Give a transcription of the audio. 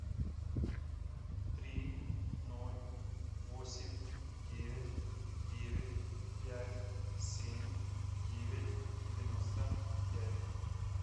три ноль восемь девять девять пять семь девять девяносто пять